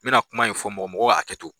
N bɛna kuma in fɔ mɔgɔ mɔgɔ ka hakɛ to.